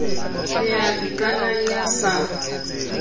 le ya ikanang ya sa